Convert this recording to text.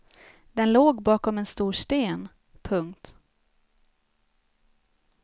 Den låg bakom en stor sten. punkt